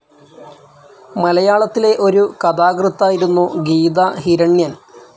മലയാളത്തിലെ ഒരു കഥാകൃത്തായിരുന്നു ഗീതാ ഹിരണ്യൻ.